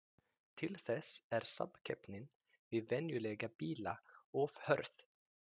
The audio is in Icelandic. Til þess er samkeppnin við venjulega bíla of hörð.